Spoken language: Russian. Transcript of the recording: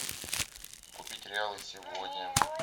купить реалы сегодня